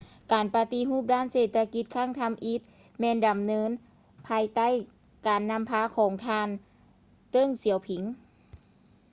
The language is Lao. ການປະຕິຮູບດ້ານເສດຖະກິດຄັ້ງທຳອິດ ແມ່ນດຳເນີນພາຍໃຕ້ການນຳພາຂອງທ່ານ ເຕີ້ງ ສຽວຜິງ